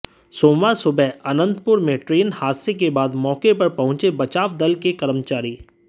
सोमवार सुबह अनंतपुर में ट्रेन हादसे के बाद मौके पर पहुंचे बचाव दल के कर्मचारी